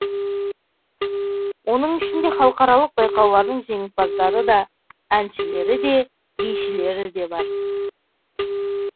оның ішінде халықаралық байқаулардың жеңімпаздары да әншілері де бишілері де бар